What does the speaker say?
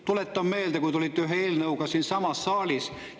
Tuletan meelde, kui te olite ühe eelnõuga siin saalis.